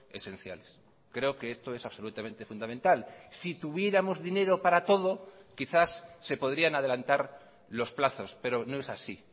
esenciales creo que esto es absolutamente fundamental si tuviéramos dinero para todo quizás se podrían adelantar los plazos pero no es así